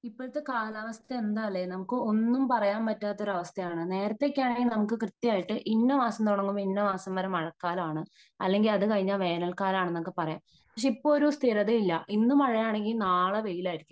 ഇപ്പോഴത്തെ കാലാവസ്ഥ എന്താ അല്ലേ ? നമുക്ക് ഒന്നും പറയാൻ പറ്റാത്ത ഒരവസ്ഥയാണ് . നേരത്തെ ഒക്കെയാണെങ്കിൽ നമുക്ക് കൃത്യമായിട്ട് ഇന്ന മാസം തുടങ്ങി ഇന്ന മാസം വരെ മഴക്കാലാമാണ്. അല്ലെങ്കിൽ അത് കഴിഞ്ഞാൽ വേണൽക്കാലമാണ് എന്നൊക്കെ പറയാം . പക്ഷേ ഇപ്പോ ഒരു സ്ഥിരത ഇല്ല ഇന്നു മഴയാണെങ്കിൽ നാളെ വെയിലായിരിക്കും